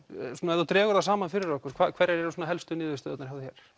ef þú dregur það saman fyrir okkur hverjar eru helstu niðurstöður hjá